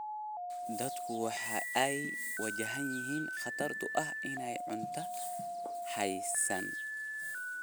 Dadku waxa ay wajahayaan khatarta ah in aanay cunto haysan.